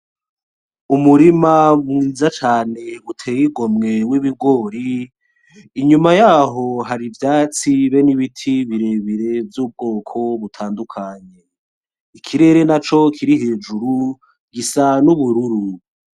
Umurima mwiza cane uteye igomwe w'ibigori inyuma yaho hari ivyatsi be n'ibiti birebere vy'ubwoko butandukanye ikirere na co kiri hejuru gisane ubururu.